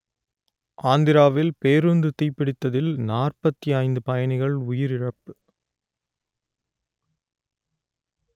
ஆந்திராவில் பேருந்து தீப்பிடித்ததில் நாற்பத்தி ஐந்து பயணிகள் உயிரிழப்பு